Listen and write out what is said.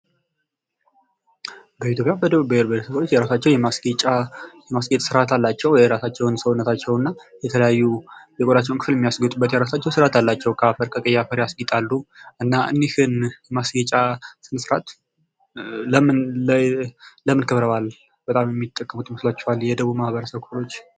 ቢኢትዮፒያ የደቡብ ብሄር ብሄረሰቦች ማስጌጫ አላቸው የራሳቸውን ሰውነታቸውና የተለያዩ ክፍል የሚያስጌጥ ከአፈር ከቀይ አፈር የተሰራ የሚያስጌጡበት አላቸው እኚህን ለምን የሚጠቀሙበት ይመስላችኋል የደቡብ ማህበረሰቦች?